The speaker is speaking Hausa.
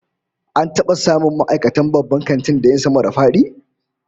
An taba samun ma'aikatan babban kantin da yin sama-da-fadi?